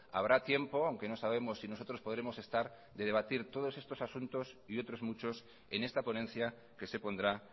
habrá tiempo aunque no sabemos si nosotros podremos estar de debatir todos estos asuntos y otros muchos en esta ponencia que se pondrá